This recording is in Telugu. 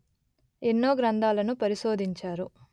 ఎన్నో గ్రంధాలను పరిశోధించారు